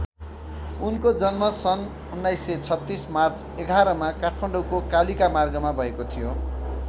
उनको जन्म सन् १९३६ मार्च ११ मा काठमाडौको कालिका मार्गमा भएको थियो।